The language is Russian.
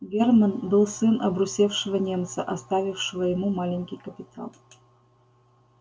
германн был сын обрусевшего немца оставившего ему маленький капитал